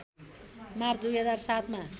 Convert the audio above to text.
March २००७ मा